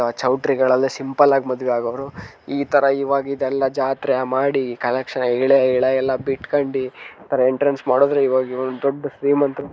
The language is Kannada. ಚೌಟ್ರಿ ಗಳಲ್ಲಿ ಸಿಂಪಲ್ ಆಗ ಮಾಡುವೆ ಅಗೌರು ಇತರ ಇವಾಗ್ ಯಲ್ಲ ಜಾತ್ರೆ ಮಾಡಿ ಕಲೆಕ್ಷನ್ ಎಲೆ ಯಲ್ಲ ಬಿಟ್ಕೊಂಡಿ ಇತರ ಎಂಟ್ರೆನ್ಸ್ ಮಾಡಿದ್ರೆ ಮಾಡುದ್ರೆ ಇವಾಗ ಇವ್ರು ದೊಡ್ ಶ್ರೀಮಂತರು